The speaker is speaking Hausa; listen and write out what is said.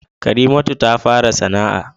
Karimatu ta fara sana'a